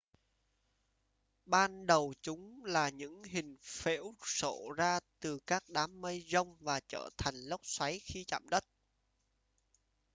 ban đầu chúng là những hình phễu xổ ra từ các đám mây giông và trở thành lốc xoáy khi chạm đất